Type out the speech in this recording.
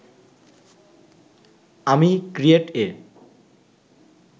আমি ক্রিয়েট এ